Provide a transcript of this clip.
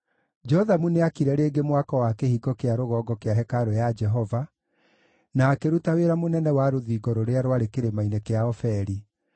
Jothamu nĩaakire rĩngĩ mwako wa Kĩhingo kĩa Rũgongo kĩa hekarũ ya Jehova, na akĩruta wĩra mũnene wa rũthingo rũrĩa rwarĩ kĩrĩma-inĩ kĩa Ofeli.